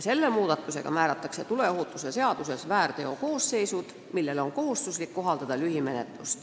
Selle muudatusega määrataks tuleohutuse seaduses väärteokoosseisud, mille korral on kohustuslik kohaldada lühimenetlust.